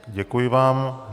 Děkuji vám.